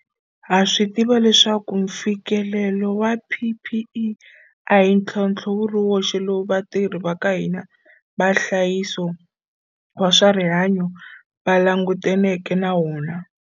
Ha swi tiva leswaku mfikelelo wa PPE a hi ntlhontlho wu ri woxe lowu vatirhi va ka hina va nhlayiso wa swa rihanyo va langutaneke na wona.